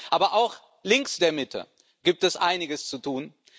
Aber auch links der Mitte gibt es einiges zu tun.